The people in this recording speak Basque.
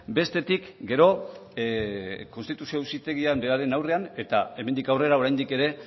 bestetik gero konstituzio auzitegian beraren aurrean eta hemendik aurrera oraindik ere